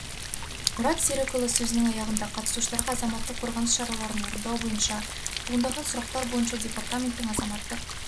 мұрат серікұлы сөзінің аяғында қатысушыларға азаматтық қорғаныс шараларын орындау бойынша туындаған сұрақтар бойынша департаменттің азаматтық